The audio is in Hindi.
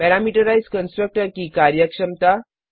पैरामीटराइज्ड कंस्ट्रक्टर की कार्यक्षमता